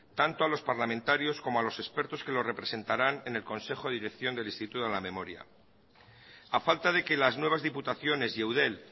tanto a los parlamentarios como a los expertos que lo representarán en el consejo de dirección de instituto de la memoria a falta de que las nuevas diputaciones y eudel